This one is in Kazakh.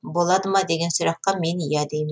болады ма деген сұраққа мен иә деймін